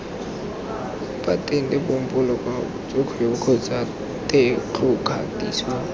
patente popo letshwaokgwebo kgotsa tetlokgatiso